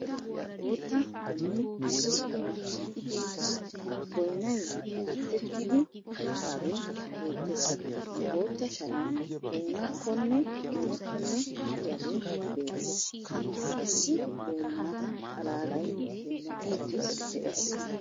Bootta donoy issi sohuwa shiiqidi uttiis. Boynnay batettidi uttaagee beettees. Bootta sharan boynakkonne donokkonne de'iyagee beettees. Issi boynna xalaalay dummatidi de'ees.